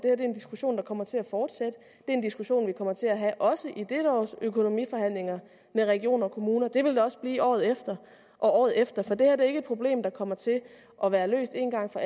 er en diskussion der kommer til at fortsætte det en diskussion vi kommer til at have også i dette års økonomiforhandlinger med regioner og kommuner det vil det også blive året efter og året efter for det her er ikke et problem der kommer til at være løst en gang for